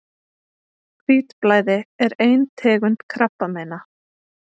Hvítblæði er ein tegund krabbameina.